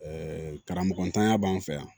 Ɛɛ karamɔgɔtanya b'an fɛ yan